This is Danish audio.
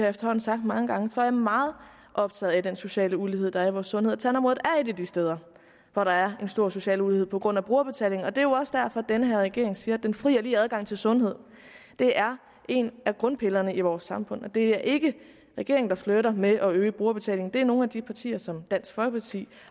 efterhånden sagt mange gange er jeg meget optaget af den sociale ulighed der er i vores sundhed og tandområdet er et af de steder hvor der er en stor social ulighed på grund af brugerbetalingen det er jo også derfor at den her regering siger at den fri og lige adgang til sundhed er en af grundpillerne i vores samfund og det er ikke regeringen der flirter med at øge brugerbetalingen det er nogle af de partier som dansk folkeparti